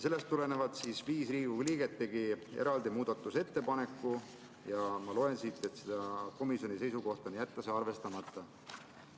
Sellest tulenevalt tegid viis Riigikogu liiget eraldi muudatusettepaneku ja ma loen siit, et komisjoni seisukoht on jätta see arvestamata.